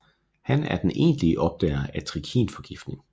Han er den egentlige opdager af trikinforgiftning